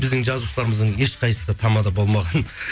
біздің жазушыларымыздың ешқайсысы тамада болмаған